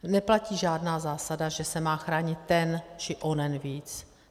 Neplatí žádná zásada, že se má chránit ten či onen víc.